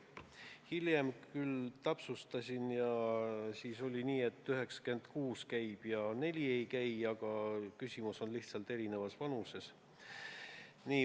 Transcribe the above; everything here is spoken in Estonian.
Hiljem ma küll täpsustasin ja siis oli nii, et 96% käib ja 4% ei käi, aga küsimus on lihtsalt erinevas vanuses.